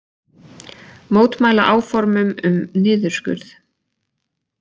Mótmæla áformum um niðurskurð